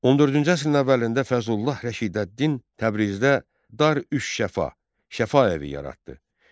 14-cü əsrin əvvəlində Fəzlullah Rəşidəddin Təbrizdə Dar Üş-Şəfa, Şəfa evi yaratdı.